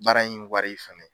Baara in wari fɛnɛ.